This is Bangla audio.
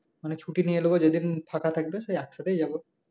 মানে ছুটি নিয়ে নেব যেদিন ফাঁকা থাকবে একসাথেই যাব